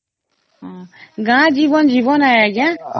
ଗାଁ ଜୀବନ ଜୀବନ ଆଂଜ୍ଞା